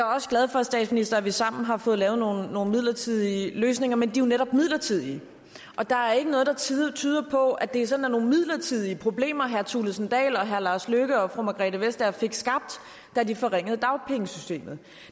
også glad for statsminister at vi sammen har fået lavet nogle midlertidige løsninger men de er jo netop midlertidige der er ikke noget der tyder tyder på at det sådan er nogle midlertidige problemer herre kristian thulesen dahl og herre lars løkke rasmussen og fru margrethe vestager fik skabt da de forringede dagpengesystemet